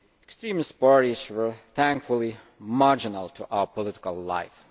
Extremist parties were, thankfully, marginal to our political life